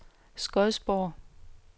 Skodsborg